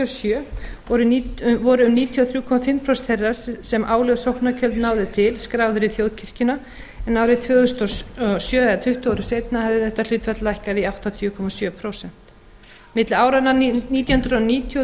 sjö voru um níutíu og þrjú og hálft prósent þeirra sem álögð sóknargjöld náðu til skráðir í þjóðkirkjuna en árið tvö þúsund og sjö eða tuttugu árum seinna hafði þetta hlutfall lækkað í áttatíu komma sjö prósent milli áranna nítján hundruð níutíu og tvö þúsund